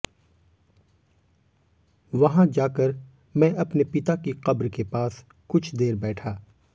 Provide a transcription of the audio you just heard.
वहां जाकर मैं अपने पिता की कब्र के पास कुछ देर बैठा